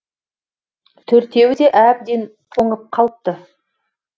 төртеуі де әбден тоңып қалыпты